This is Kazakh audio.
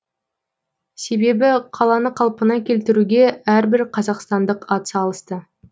себебі қаланы қалпына келтіруге әрбір қазақстандық атсалысты